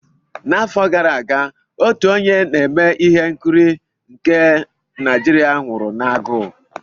N'afọ gara aga, otu onye na-eme ihe nkiri nke Naijiria nwụrụ n'agụụ.